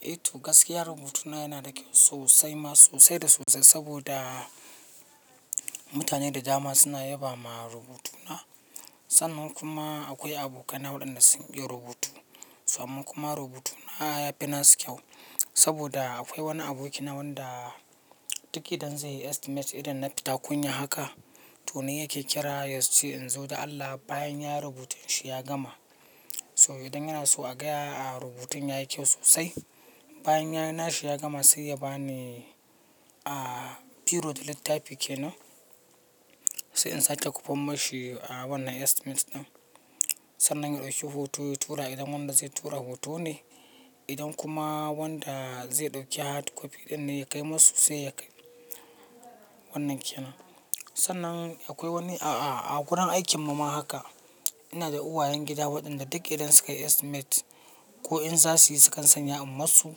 Eh to gaskiya rubutuna yana da kyau sosai ma sosai da sosai saboda mutane da dama suna yabama rubutuna. Sannan kuma akwai abokaina waɗanda sun iya rubutu. Samma kuma rubutuna ya fi na su kyau saboda akwai wani abokina wanda duk idan zai yi estimate irin na fita kunya haka, to ni yake kira yace in zo da Allah bayan ya rubuta shi ya gama. So idan yana so a gaya a rubutun ya yi kyau sosai. Bayan yayi nashi ya gama sai ya bani a biro da littafi kenan. Sai in sake kofan mashi a wannan estimate ɗin. Sannan ya ɗauki hoto ya tura idan wanda zai tura hoto ne, idan kuma wanda zai ɗauki hard copy ɗin ne ya kai masu sai ya kai wannan kenan. Sannan akwai wani a a a gurin aikin mu ma haka. Ina da uwayen gida waɗanda duk idan suka yi estimate ko in za su yi sukan sanya a masu,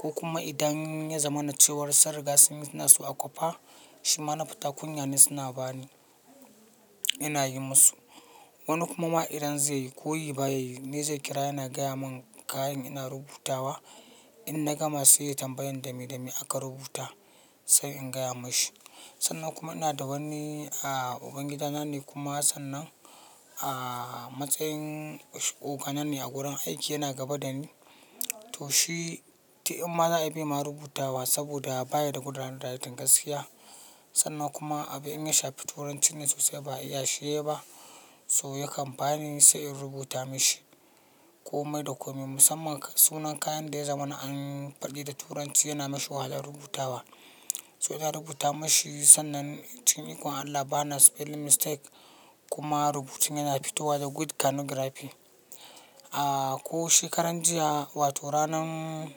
ko kuma idan ya zama na cewar sunriga sun yi nasu a kwafa, shima na fita kunya ne suna ba ni. Ina yi masu. Wani kuma ma idan zai yi ko ya yi ba ya yi, me zai kira yana gaya mun kayan ina rubutawa. In na gama sai ya tambayi dame dame aka rubuta sai in gaya mashi. Sannan kuma ina da wani a ubangida na ne kuma sannan a matsayin oga na ne a gurin aiki yana gaba da ni. To shi, duk in ma za a yi baima rubutawa saboda baya da good hand writing gaskiya. Sannan kuma abin in ya shafi turanci ne sosai ba iya shi yayi ba. So yakan bani sai in rubuta mashi. Komai da komai musamman sunan kayan da ya zama na an faɗi da turanci yana mashi wahala rubutawa. So na rubuta mashi sannan cikin iko Allah ba na spelling mistake kuma rubutun yana fitowa da good calligraphy. A ko shekaran jiya wato ranan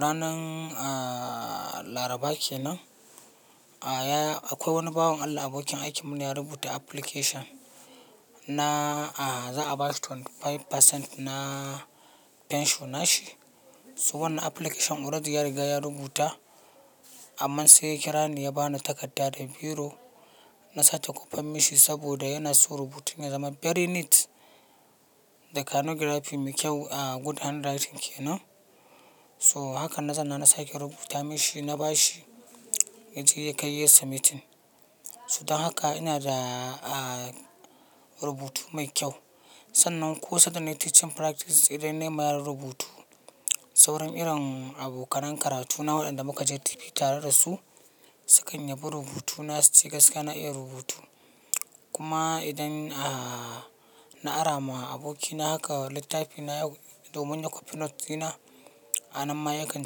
ranan a laraba kenan, a ya akwai wani bawon Allah abokin aikinmu ne ya rubuta application na a za a bashi 25% na pension nashi. So wannan application already ya riga ya rubuta. Amma sai ya kira ni ya bani takarda da biro. Na sake kofan mashi saboda yana so rubutun ya zama very neat da calligraphy mai kyau a good handwriting kenan. So haka na zanna na sake rubuta mashi na bashi. Yaje ya kai yayi submitting. So don haka ina da a rubutu mai kyau. Sannan ko sanda na yi teaching practice idan na yi ma yara rubutu, sauran irin abokanen karatuna waɗanda muka je TP tare da su, sukan yabi rubutu na su ci gaskiya na iya rubutu. Kuma idan a na ara ma abokina haka littafi na domin ya copy notes ɗina, a nan ma ya kan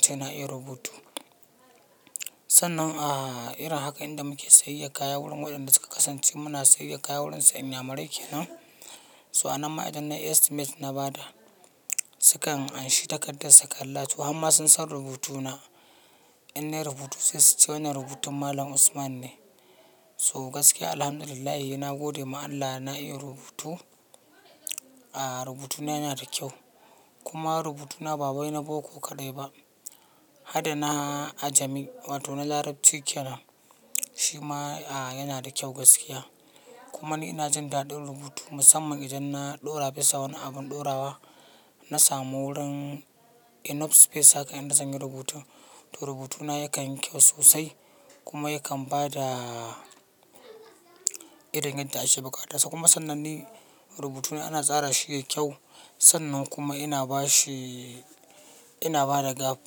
ce na iya rubutu. Sannan a irin haka idan muke sayayyar kaya wurin waɗanda suka kasance muna sayayyar kaya wurinsu inyamurai kenan. So a nan ma idan nayi estimate na ba da, sukan anshi takardar su kalla to har ma sun san rubutuna. In na yi rubutu sai su ce wannan rubutun Malam Usman ne. So gaskiya Alhamdulillah yi na gode ma Allah na iya rubutu. A rubutuna yana da kyau. Kuma rubutuna ba bai na boko kaɗai ba. Hada na ajami wato na larabci kenan. Shi ma a yana da kyau gaskiya. Kuma ni ina jin daɗin rubutu musamman idan na ɗora bisa wani abun ɗorawa. Na samu wurin enough space haka idan zan yi rubutu. To rubutuna yakan yi kyau sosai. Kuma yakan ba da irin yadda ake buƙata. Kuma sannan ni rubutuna ana tsara shi yayi kyau. Sannan kuma ina ba shi ina ba da gap.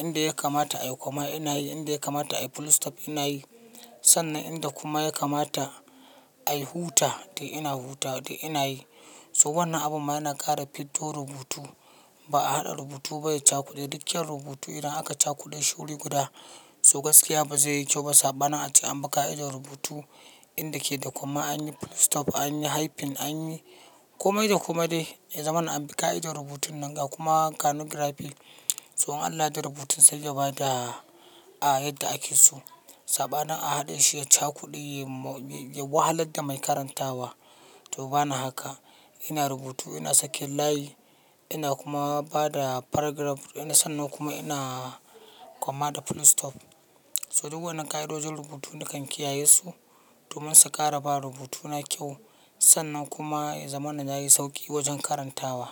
Inda ya kamata a yi koma ina yi, inda ya kamata a yi full stop ina yi. Sannan inda kuma ya kamata a yi huta dai ina huta dai ina yi. So wannan abun ma yana ƙara fiddo rubutu. Ba a haɗa rubutu ba ya cakuɗe. Duk kyan rubutu idan aka cakuɗe shi wuri guda, so gaskiya ba zai yi kyau ba sabanin ace anbi ƙa'idar rubutu inda ke da koma an yi full stop an yi hyphen an yi komai da komai dai. Ya zama na ambaka idon rubutun nan a kuma calligraphy. So in Allah ya yarda rubutun sai da ba da a yadda ake so. Sabanin a haɗe shi ya cakuɗe ya wahalar da mai karantawa. To bana haka. Ina rubutu ina sakin layi. Ina kuma ba da paragraph. Ina sannan kuma ina koma da full stop. So duk wannan ƙa'idojin rubutu nakan kiyaye su domin su ƙara ba rubutuna kyau. Sannan kuma ya zama na yayi sauƙi wajen karantawa.